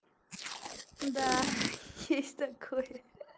да есть такое